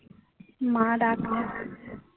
মা ডাকছে।